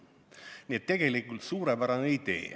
Nii et tegelikult suurepärane idee.